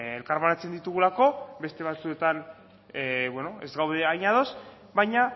elkarbanatzen ditugulako beste batzuetan ez gaude hain ados baina